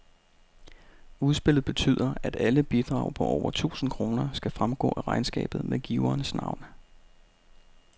Udspillet betyder, at alle bidrag på over tusind kroner skal fremgå af regnskabet med giverens navn.